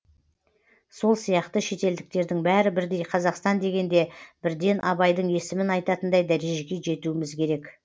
сол сияқты шетелдіктердің бәрі бірдей қазақстан дегенде бірден абайдың есімін айтатындай дәрежеге жетуіміз керек